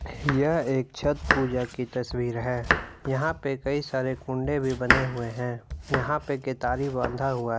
यह एक छत पूजा की तस्वीर है यहां पे कई सारे कुंडे भी बने हुए है यहां पे केतारी बांधा हुआ है।